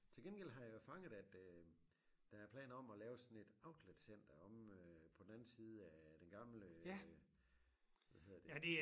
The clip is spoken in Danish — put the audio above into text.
Til gengæld har jeg fanget at øh der er planer om at lave sådan et outletcenter omme øh på den anden side af den gamle øh hvad hedder det